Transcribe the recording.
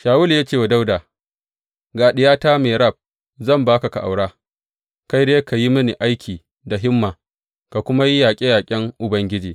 Shawulu ya ce wa Dawuda, Ga diyata Merab zan ba ka ka aura, kai dai ka yi mini aiki da himma, ka kuma yi yaƙe yaƙen Ubangiji.